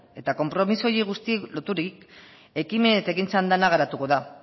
eta konpromiso guzti horiei loturik ekimen eta ekintzan dena garatuko da